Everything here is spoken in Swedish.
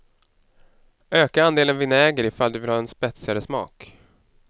Öka andelen vinäger ifall du vill ha en spetsigare smak.